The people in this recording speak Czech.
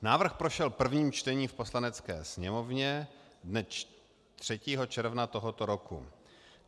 Návrh prošel prvním čtením v Poslanecké sněmovně dne 3. června tohoto roku.